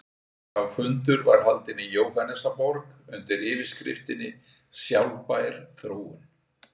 Sá fundur var haldinn í Jóhannesarborg undir yfirskriftinni Sjálfbær þróun.